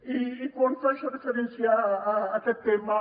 i quan faig referència a aquest tema